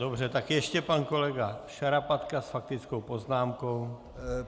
Dobře, tak ještě pan kolega Šarapatka s faktickou poznámkou.